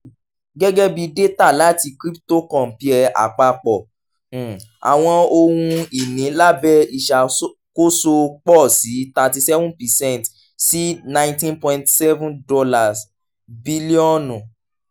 um gẹgẹbi data lati cryptocompare apapọ um awọn ohun-ini labẹ iṣakoso pọ si thirty seven percent si $ nineteen point seven bilionu